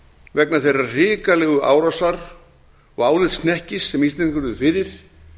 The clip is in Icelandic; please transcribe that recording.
vegna þeirrar hrikalegu árásar og álitshnekkis sem íslendingar urðu fyrir